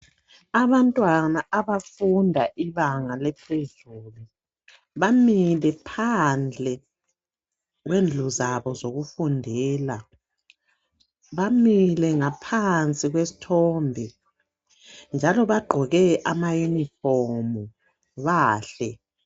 Abantwana abafunda ibanga lecreche bamile phandle kwendlu zabo zokufundela. Bamile ngaphansi kwesithombe njalo bagqoke ama uniform bahle.